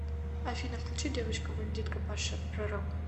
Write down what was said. афина включи девочка бандитка паша пророк